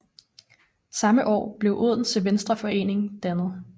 Samme år blev Odense Venstreforening dannet